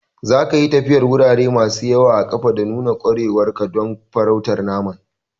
Zaka yi tafiyar wurare masu yawa a ƙafa da nuna ƙwarewar ka don farautar naman.